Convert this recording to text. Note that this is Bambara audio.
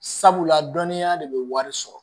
Sabula dɔnniya de bɛ wari sɔrɔ